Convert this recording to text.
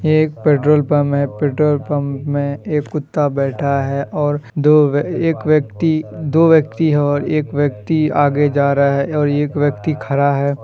ये एक petrol pump है पेट्रोल पम्प में कुत्ता बैठा है और दो एक व्यक्ति दो व्यक्ति है और एक व्यक्ति आगे जा रहा है एक व्यक्ति खड़ा है।